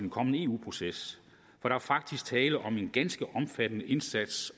kommende eu proces er der faktisk tale om en ganske omfattende indsats